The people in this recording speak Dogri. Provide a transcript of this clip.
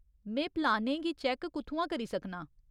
में प्लानें गी चैक्क कु'त्थुआं करी सकनां?